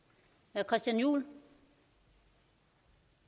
er jo